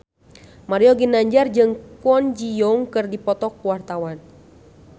Mario Ginanjar jeung Kwon Ji Yong keur dipoto ku wartawan